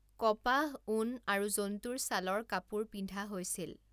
কপাহ, ঊণ আৰু জন্তুৰ ছালৰ কাপোৰ পিন্ধা হৈছিল।